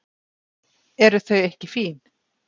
Eru þau ekki fín?